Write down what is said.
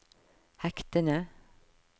hektene